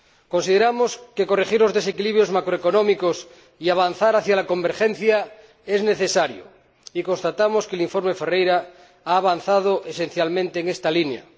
Consideramos que corregir los desequilibrios macroeconómicos y avanzar hacia la convergencia es necesario, y constatamos que el informe Ferreira ha avanzado esencialmente en esta línea.